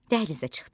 Dəhlizə çıxdı.